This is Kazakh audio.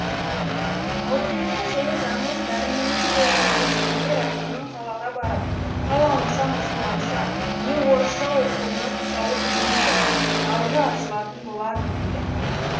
ал келесі жылы жаңыл дәрменнің қолына көшкенде рахымның қалаға барып қалауынша мұсылманша не орысша оқуына тұсауы кеңиді алды ашылатын болады деген